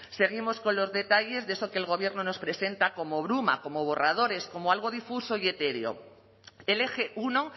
seguimos con los detalles de eso que el gobierno nos presenta como bruma como borradores como algo difuso y etéreo el eje uno